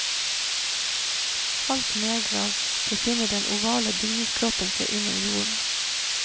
Halvt nedgravd befinner den ovale bygningskroppen seg under jorden.